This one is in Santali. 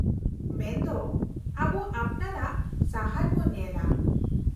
-ᱢᱮᱱ ᱫᱚ, ᱟᱵᱚ ᱟᱯᱱᱟᱨᱟᱜ ᱥᱟᱦᱟᱨ ᱵᱚ ᱧᱮᱞᱟ ?